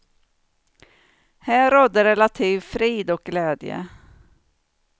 Här rådde relativ frid och glädje.